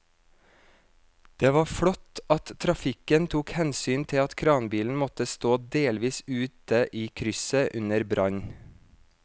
Det var flott at trafikken tok hensyn til at kranbilen måtte stå delvis ute i krysset under brannen.